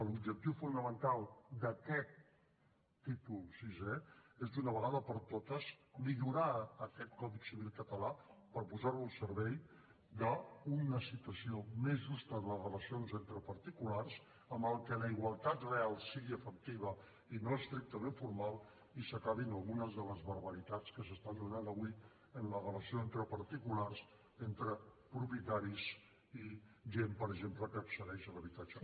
l’objectiu fonamental d’aquest títol sisè és d’una vegada per totes millorar aquest codi civil català per posarlo al servei d’una situació més justa en les relacions entre particulars en què la igualtat real sigui efectiva i no estrictament formal i s’acabin algunes de les barbaritats que s’estan donant avui en la relació entre particulars entre propietaris i gent per exemple que accedeix a l’habitatge